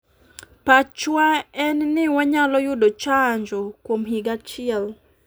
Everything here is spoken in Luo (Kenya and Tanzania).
"pachwa en ni wanyalo yudo chanjo kuom higa achiel.